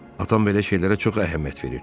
Atam belə şeylərə çox əhəmiyyət verir.